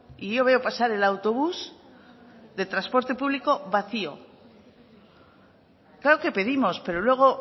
y yo veo pasar el autobús de transporte público vacío claro que pedimos pero luego